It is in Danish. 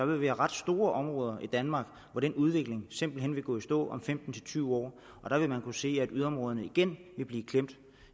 vil være ret store områder i danmark hvor den udvikling simpelt hen vil gå i stå om femten til tyve år der vil man kunne se at yderområderne igen vil blive klemt